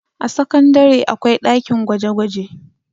a sakandare akwai ɗakin gwaje gwaje